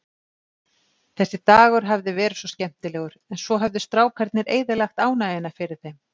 Þessi dagur hafði verið svo skemmtilegur, en svo höfðu strákarnir eyðilagt ánægjuna fyrir þeim.